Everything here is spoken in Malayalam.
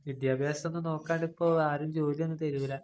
വിദ്യാഭ്യാസം ഒന്നും നോക്കാണ്ട് ഇപ്പം ആരും ജോലി ഒന്നും തരൂല.